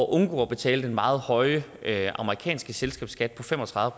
undgå at betale den meget høje amerikanske selskabsskat på fem og tredive